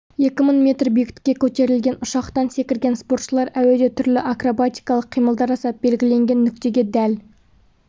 екі мың метр биіктікке көтерілген ұшақтан секірген спортшылар әуеде түрлі акробатикалық қимылдар жасап белгіленген нүктеге дәл